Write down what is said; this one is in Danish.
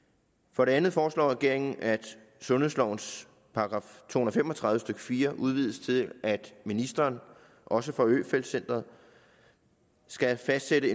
for det andet foreslår regeringen at sundhedslovens § to hundrede og fem og tredive stykke fire udvides til at ministeren også for øfeldt centret skal fastsætte